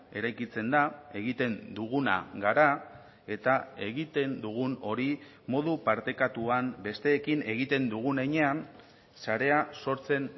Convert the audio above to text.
eraikitzen da egiten duguna gara eta egiten dugun hori modu partekatuan besteekin egiten dugun heinean sarea sortzen